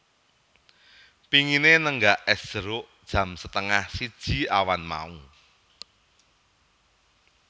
Pingine nenggak es jeruk jam setengah siji awan mau